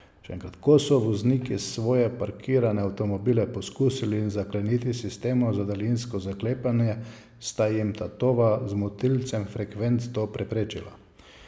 Ko so vozniki svoje parkirane avtomobile poskusili zakleniti s sistemom za daljinsko zaklepanje, sta jim tatova z motilcem frekvenc to preprečila.